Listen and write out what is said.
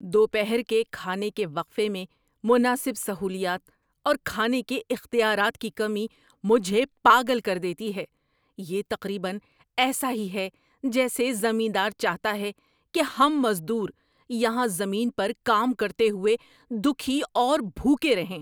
دوپہر کے کھانے کے وقفے میں مناسب سہولیات اور کھانے کے اختیارات کی کمی مجھے پاگل کر دیتی ہے۔ یہ تقریبا ایسا ہی ہے جیسے زمیندار چاہتا ہے کہ ہم مزدور یہاں زمین پر کام کرتے ہوئے دکھی اور بھوکے رہیں۔